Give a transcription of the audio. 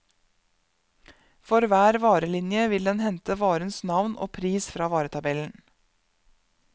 For hver varelinje vil den hente varens navn og pris fra varetabellen.